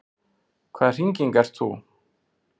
Hvaða hringing ert þú?